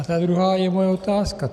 A ta druhá je moje otázka.